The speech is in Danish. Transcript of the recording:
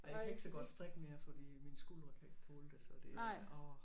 Ej jeg kan ikke så godt strikke mere fordi mine skuldre kan ikke tåle det så det er orh